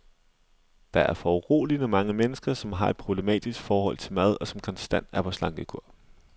Der er foruroligende mange mennesker, som har et problematisk forhold til mad, og som konstant er på slankekur.